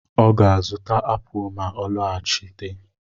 Ọ ga-azụta apụl ma ọ lọghachite.